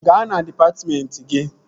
Gaa na dịpatmentị gị!